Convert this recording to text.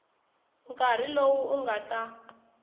nkarhi lowu u nga ta